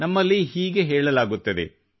ನಮ್ಮಲ್ಲಿ ಹೀಗೆ ಹೇಳಲಾಗುತ್ತದೆ